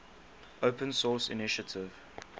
open source initiative